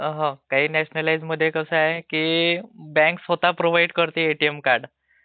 हा काही नॅशन्लाइज मध्ये कस आहे की बॅंक स्वतः प्रोव्हाइड करते एटीएम कार्ड